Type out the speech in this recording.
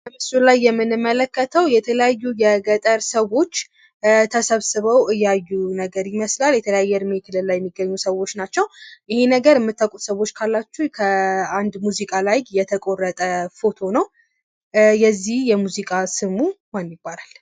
በምስሉ ላይ የምንመለከተው የተለያዩ የገጠር ሰዎች ተሰብስበው እያዩ ነገር ይመስላል፤ የተለያየ የእድሜ ክልል ላይ የሚገኙ ሰዎች ናቸው። ይሄን ነገር ምታውቁት ካላችሁ ከአንድ ሙዚቃ ላይ የተቆረጠ ፎቶ ነው የዚህ ሙዚቃ ስሙ ምን ይባላል?